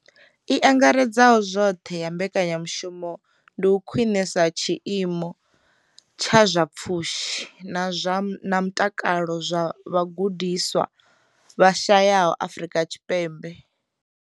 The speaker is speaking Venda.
I angaredzaho zwoṱhe ya mbekanyamushumo ndi u khwinisa tshiimo tsha zwa pfushi na mutakalo zwa vhagudiswa vha shayesaho Afrika Tshipembe.